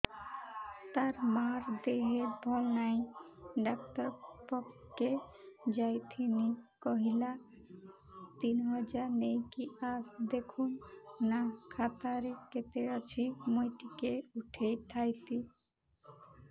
ତାର ମାର ଦେହେ ଭଲ ନାଇଁ ଡାକ୍ତର ପଖକେ ଯାଈଥିନି କହିଲା ତିନ ହଜାର ନେଇକି ଆସ ଦେଖୁନ ନା ଖାତାରେ କେତେ ଅଛି ମୁଇଁ ଟିକେ ଉଠେଇ ଥାଇତି